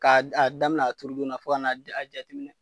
K'a d a damin'a turudon na fo kan'a j a jateminɛ